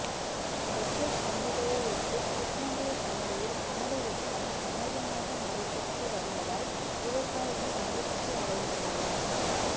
பக்ரீத் பண்டிகையையொட்டி கிருஷ்ணகிரி சந்தையில் ஆடு விற்பனை அமோகமாக நடைபெற்றுவருவதால் விவசாயிகள் மகிழ்ச்சி அடைந்துள்ளனர்